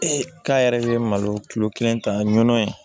k'a yɛrɛ ye malo kilo kelen ta ɲɔnɔ yen